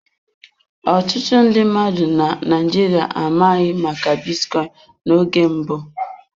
Ọtụtụ ndị mmadụ na Naịjirịa amabughị maka bitcoin n'oge mbụ.